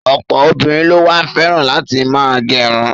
Ọ̀pọ̀ obìnrin ló wá fẹ́ràn láti ma gẹrun.